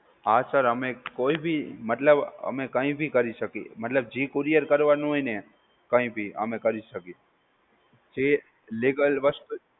હા sir અમે કોઈ ભી, મતલબ અમે કઈ ભી કરી શકીએ, મતલબ જી courier કરવાનુ હોય ને કઈ ભી અમે કરી શકીએ, જી legal વસ્તુ